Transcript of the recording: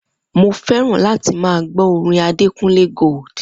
Mo fé̩ràn láti máa gbó̩ orin Adekúnlé Gold